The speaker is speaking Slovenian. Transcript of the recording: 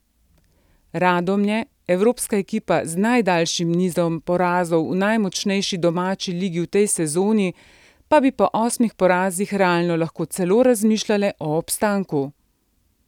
Radomlje, evropska ekipa z najdaljšim nizom porazov v najmočnejši domači ligi v tej sezoni, pa bi po osmih porazih realno lahko celo razmišljale o obstanku.